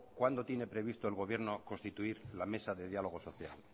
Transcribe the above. cuándo tiene previsto el gobierno constituir la mesa de diálogo social